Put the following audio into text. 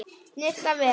Snyrta vel.